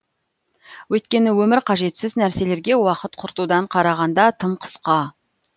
өйткені өмір қажетсіз нәрселерге уақыт құртудан қарағанда тым қысқа